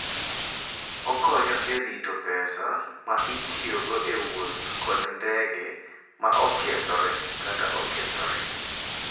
Okonyo e rito pesa ma itiyogo e wuoth kod ndege ma okethore kata okethore.